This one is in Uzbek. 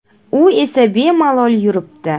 U esa bemalol yuribdi.